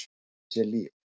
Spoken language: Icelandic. Hann átti sér líf.